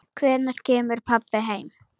Hvenær kemur pabbi heim?